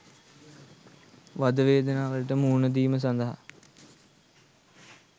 වද වේදනාවලට මුහුණ දීම සඳහා